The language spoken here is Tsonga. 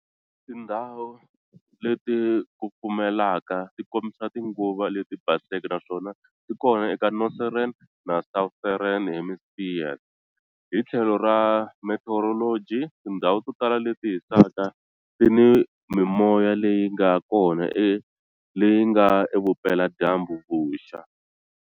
Tindzhawu leti kufumelaka ti kombisa tinguva leti baseke naswona ti kona eka Northern na Southern Hemispheres. Hi tlhelo ra meteorology, tindhawu to tala leti hisaka ti ni mimoya leyi nga kona leyi nga evupela-dyambu-vuxa.